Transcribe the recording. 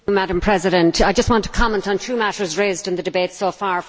Madam President, I just want to comment on two matters raised in the debate so far.